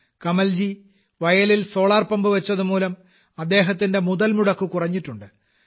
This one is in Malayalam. കമൽജി വയലിൽ സോളാർപമ്പ് വച്ചതുമൂലം അദ്ദേഹത്തിന്റെ മുതൽമുടക്ക് കുറഞ്ഞിട്ടുണ്ട്